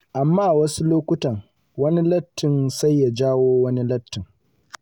Amma wasu lokutan, wani lattin sai ya jawo wani sabon lattin.